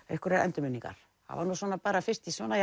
einhverjar endurminningar það var fyrst svona